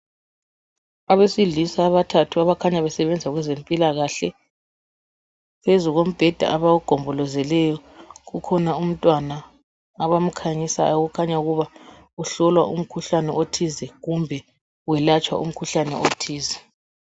Abesilisa abathathu abakhanya besebenza kwezempilakahle phezulu kombheda abawugombolozeleyo kukhona umntwana abakhanyisa okakhanya ukuba uhlolwa umkhuhlane othize kumbe uyelatshwa umkhuhlane othize.